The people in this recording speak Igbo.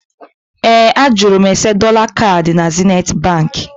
Ee, a jụrụ m ese dọla kaadị na Zenithi Baankị